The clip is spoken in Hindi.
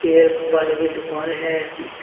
ये एक बालों की दुकान है।